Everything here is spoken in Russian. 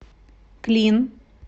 клин